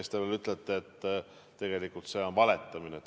Siis te ütlete veel, et tegelikult on see valetamine.